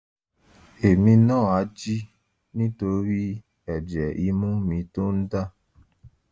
èmi náà á jí nítorí ẹ̀jẹ̀ imú mi tó ń dà